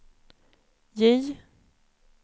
J